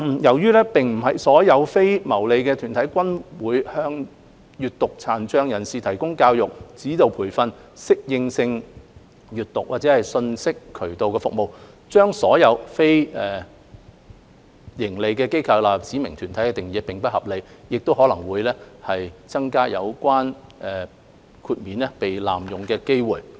由於並非所有非牟利團體均會向閱讀殘障人士提供教育、指導培訓、適應性閱讀，或者信息渠道的服務，將所有非牟利機構納入指明團體的定義並不合理，亦可能會增加有關豁免被濫用的機會。